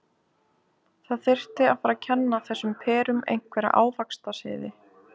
Það þyrfti að fara að kenna þessum perum einhverja ávaxtasiði.